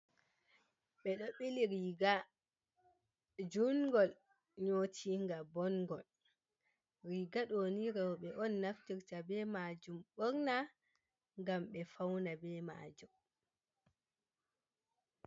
Ɓeɗo ɓili riga jungol nyotinga bongol. Riga ɗoni roɓe on naftirta be majum ɓorna ngam ɓe fauna be majum.